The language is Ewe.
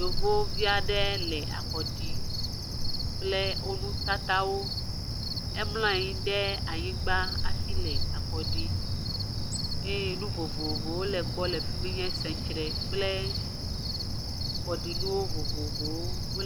Yevovi aɖe le akɔ ɖi kple wo nutatawo. Emla anyi ɖe anyigba hafi le akɔ ɖii, eye nu vovovowo le gbɔ le fi mi nye sɛŋtsre kple kɔɖinuwo vovovowo wole.